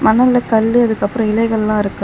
மணல்ல கல்லு அதுக்கு அப்ரோ இலைகள்லா இருக்கு.